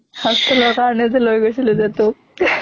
hostel ৰ কাৰণে যে লৈ গৈছিলো তোক